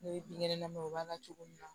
Ne bɛ binkɛnɛ na ma o b'a la cogo min na